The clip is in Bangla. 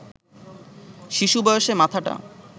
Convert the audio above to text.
শিশুবয়সে মাথাটা